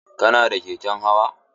Kana da keken hawa?